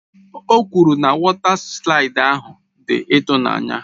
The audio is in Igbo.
O kwuru na wọta slaịdị ahụ dị ịtụnanya.